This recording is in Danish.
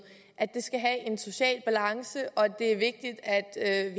skal have en social balance og at det er vigtigt at